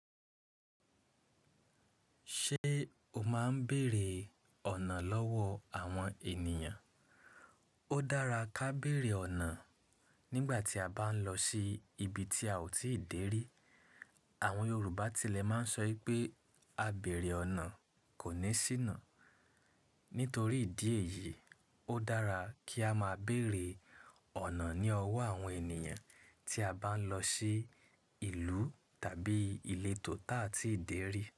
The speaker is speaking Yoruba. Ṣé o máa ń bèèrè ọ̀nà lọ́wọ́ àwọn ènìyàn? Ó dára kí a bèèrè ọ̀nà nígbà tí a bá ń lọ sí ibi tí a ò tíì dé rí. Àwọn Yorùbá tilẹ̀ máa ń sọ wipé "a bèèrè ọ̀nà kò ní síná". Nítorí ìdí èyií, ó dára kí á máa bèèrè ọ̀nà ní ọwọ́ àwọn ènìyàn tí a bá ń lọ sí ìlú tàbí ìletò ti a tí ì dé rí.